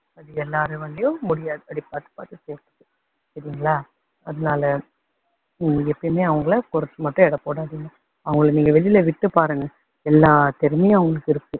அது எல்லாராலேயும் முடியாது அப்படி பாத்து பாத்து செய்யுறதுக்கு. சரிங்களா அதனால நீங்க மட்டும் எப்பயுமே அவங்களை குறைச்சு மட்டும் எடை போடாதீங்க. அவங்களை நீங்க வெளியில விட்டு பாருங்க எல்லா திறமையும் அவங்களுக்கு இருக்கு.